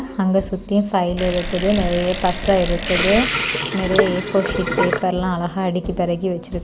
அங்க சுத்தியும் ஃபைல் இருக்குது. நறைய பசை இருக்குது. நறைய ஏ_ஃபோர் ஷீட் பேப்பர் எல்லாம் அழகா அடக்கி பெடகி வச்சிருக்.